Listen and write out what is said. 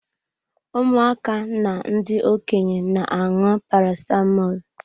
Ụmụaka na ndị Okenye na-aṅụ Paracetamọl.